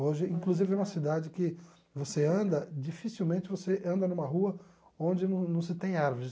Hoje, inclusive, é uma cidade que você anda, dificilmente você anda numa rua onde não não se tem árvores.